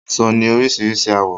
Aṣọ ni orísirísi àwọ́